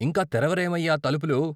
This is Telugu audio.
ఇంకా తెరవరేవయ్య తలుపులు?